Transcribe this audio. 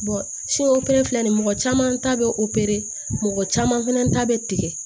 fɛnɛ filɛ nin mɔgɔ caman ta bɛ o caman fana ta bɛ tigɛ